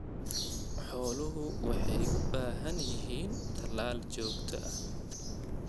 Xooluhu waxay u baahan yihiin talaal joogto ah.